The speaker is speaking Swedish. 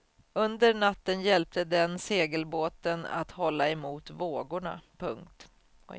Under natten hjälpte den segelbåten att hålla emot vågorna. punkt